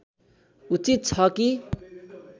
उचित छ कि